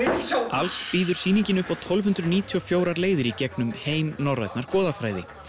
alls býður sýningin upp á tólf hundruð níutíu og fjögur leiðir í gegnum heim norrænnar goðafræði